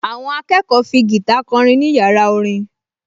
Àwọn akẹ́kọ̀ọ fi gìtá kọrin ní yàrá orin